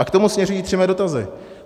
A k tomu směřují tři mé dotazy.